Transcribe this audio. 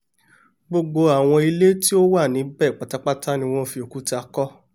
gbogbo àwọn ilé tí wọ́n wà níbẹ̀ pátápátá ni wọ́n fi òkúta kọ́